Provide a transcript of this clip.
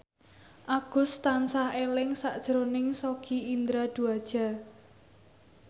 Agus tansah eling sakjroning Sogi Indra Duaja